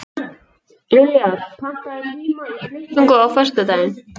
Liljar, pantaðu tíma í klippingu á föstudaginn.